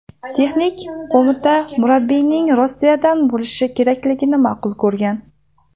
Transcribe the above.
Texnik qo‘mita murabbiyning Rossiyadan bo‘lishi kerakligini ma’qul ko‘rgan.